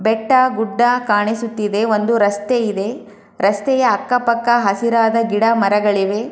ಬೆಟ್ಟ ಗುಡ್ಡ ಕಾಣಿಸುತ್ತಿದೆ ಒಂದು ರಸ್ತೆ ಇದೆ ರಸ್ತೆಯ ಅಕ್ಕ ಪಕ್ಕ ಹಸಿರಾದ ಗಿಡ ಮರಗಳಿವೆ.